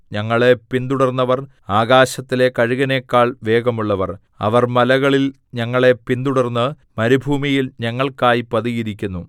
ഞങ്ങളെ പിന്തുടർന്നവർ ആകാശത്തിലെ കഴുകനെക്കാൾ വേഗമുള്ളവർ അവർ മലകളിൽ ഞങ്ങളെ പിന്തുടർന്ന് മരുഭൂമിയിൽ ഞങ്ങൾക്കായി പതിയിരുന്നു